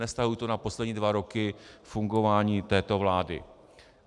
Nevztahuji to na poslední dva roky fungování této vlády.